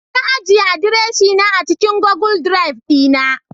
Na ajiye adireshina a cikin Google Drive dina